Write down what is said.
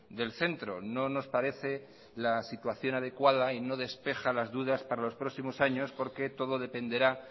del centro no nos parece la situación adecuada y no despeja las dudas para los próximos años porque todo dependerá